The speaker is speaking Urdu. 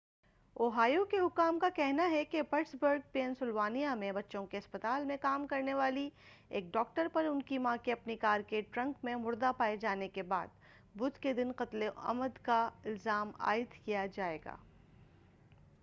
اوہایو کے حکام کا کہنا ہے کہ پٹسبرگ پین سلوانیا میں بچوں کے اسپتال میں کام کرنے والی ایک ڈاکٹر پر ان کی ماں کے اپنی کار کے ٹرنک میں مردہ پائے جانے کے بعد بدھ کے دن قتلِ عمد کا الزام عائد کیا جائے گا